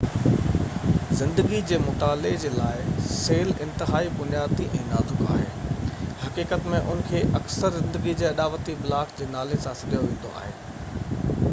زندگي جي مطالعي جي لاءِ سيل انتهائي بنيادي ۽ نازڪ آهن حقيقت ۾ انهن کي اڪثر زندگي جي اڏاوتي بلاڪ جي نالي سان سڏيو ويندو آهي